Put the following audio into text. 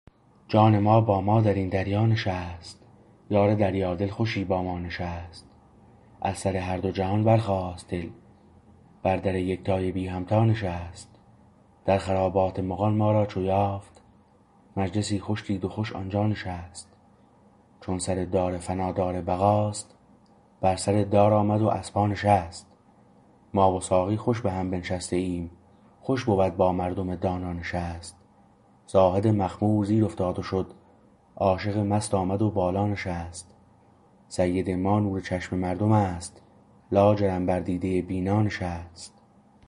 جان ما با ما در این دریا نشست یار دریادل خوشی با ما نشست از سر هر دو جهان برخاست دل بر در یکتای بی همتا نشست در خرابات مغان ما را چو یافت مجلسی خوش دید و خوش آنجا نشست چون سر دار فنا دار بقاست بر سر دار آمد و از پا نشست ما و ساقی خوش به هم بنشسته ایم خوش بود با مردم دانا نشست زاهد مخمور زیر افتاد و شد عاشق مست آمد و بالا نشست سید ما نور چشم مردم است لاجرم بر دیده بینا نشست